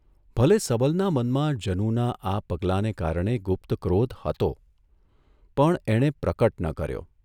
ભલે સબલના મનમાં જનુના આ પગલાંને કારણે ગુપ્ત ક્રોધ હતો, પણ એણે પ્રકટ ન કર્યો.